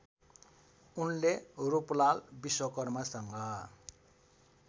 उनले रूपलाल विश्वकर्मासँग